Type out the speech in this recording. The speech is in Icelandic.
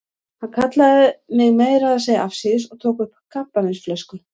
Hann kallaði mig meira að segja afsíðis og tók upp kampavínsflösku.